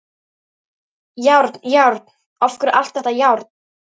Járn, járn, af hverju allt þetta járn?